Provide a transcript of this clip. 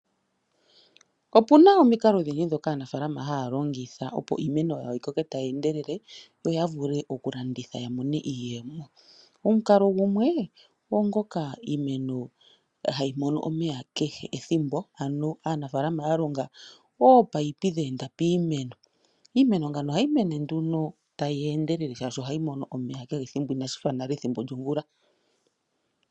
Opuna omikalo odhindji ndhoka aanafalama haya longitha opo iimeno yawo yi koke tayi endelele, yo ya vule okulanditha ya mone iiyemo. Omukalo gumwe, ogwo ngoka iimeno hayi mono omeya kehe ethimbo ano aanafalama ya longa ominino dha enda piimeno, iimeno ngawo ohayi mene nduno tayi endelele shaashi ohayi mono omeya kehe ethimbo inashifa nale ethimbo lyomvula.